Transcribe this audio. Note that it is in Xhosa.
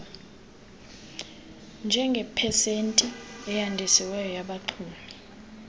njengepesenti eyandisiweyo yabaxumi